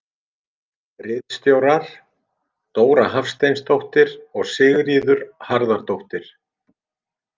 Ritstjórar: Dóra Hafsteinsdóttir og Sigríður Harðardóttir.